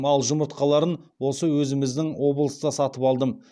ал жұмыртқаларын осы өзіміздің облыста сатып алдым